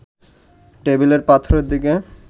টেবিলের পাথরের দিকে